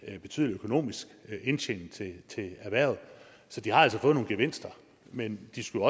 en betydelig økonomisk indtjening til erhvervet de har altså fået nogle gevinster men de skulle